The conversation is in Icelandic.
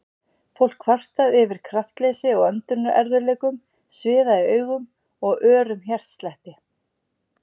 Fólk kvartað yfir kraftleysi og öndunarerfiðleikum, sviða í augum og örum hjartslætti.